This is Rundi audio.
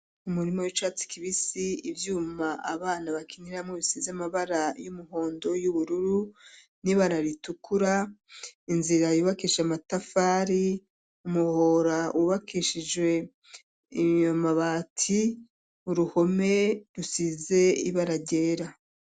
Umurima w'icatsi kibisi ivyuma abana bakiniramwo bisize amabara y'umuhondo y'uburru n'ibara ritukura, inzira yubakisha amatafari ,umuhora wubakishije amabati ,uruhome rusize ibara ryera.